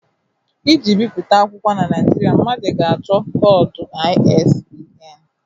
Iji bipụta akwụkwọ na Nigeria, mmadụ ga-achọ koodu ISBN